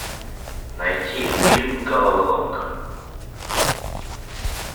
найти фильм головоломка